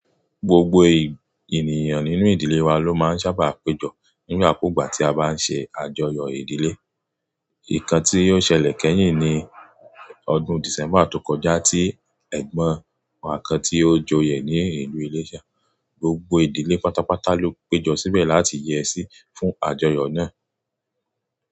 Gbogbo ènìyàn nínú ìdílé wa ló máa ń sábà péjọ nígbà kúgbà tí a bá ń ṣe àjọyọ̀ ìdílé. Nǹkan tí ó ṣẹlẹ̀ kẹ́yìn ní ọdún December tó kọjá tí ẹ̀gbọ́n wa kan tí ó joyè ní ìlú Ileṣa. Gbogbo ìdílé pátápátá ló péjọ síbẹ̀ láti yẹ sí fún àjọyọ̀ náà.